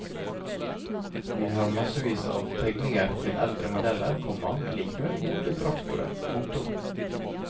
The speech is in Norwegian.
Vi har massevis av tegninger til eldre modeller, komma men likevel gode traktorer. punktum